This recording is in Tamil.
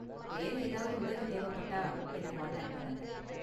வேற ஏதாவது உதவி தேவைப்பட்டா என்ன கான்டாக்ட் பண்ணுங்க.